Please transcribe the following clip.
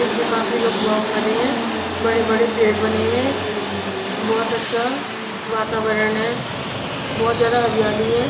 इस पे काफी लोग वॉक कर रहे हैं बड़े-बड़े पेड़ बने हुए हैं बहुत अच्छा वातावरण है बहुत ज्यादा हरियाली है.